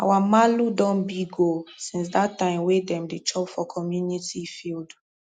our malu don big oo since that time wey dem dey chop for community field